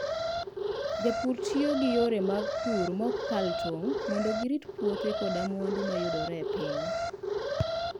Jopur tiyo gi yore mag pur ma ok kal tong' mondo girit puothe koda mwandu ma yudore e piny.